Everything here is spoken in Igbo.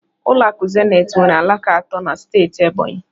Ụlọ akụ Zenith nwere alaka atọ na steeti Ebonyi